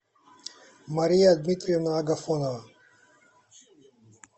мария дмитриевна агафонова